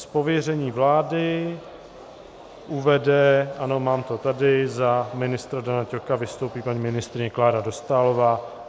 Z pověření vlády uvede, ano mám to tady, za ministra Dana Ťoka vystoupí paní ministryně Klára Dostálová.